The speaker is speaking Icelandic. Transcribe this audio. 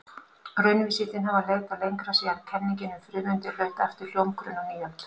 Raunvísindin hafa leitað lengra síðan kenningin um frumeindir hlaut aftur hljómgrunn á nýöld.